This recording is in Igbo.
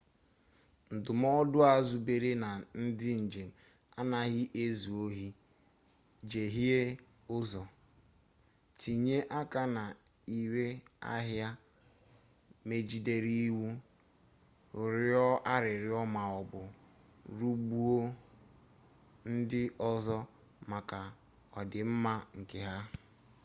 ndụmọdụ a zubere na ndị njem anaghị ezu ohi jehiee ụzọ tinye aka na ire ahịa megidere iwu rịọọ arịrịọ maọbụ rigbuo ndị ọzọ maka ọdịmma nke ha